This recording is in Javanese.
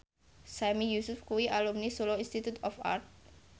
Sami Yusuf kuwi alumni Solo Institute of Art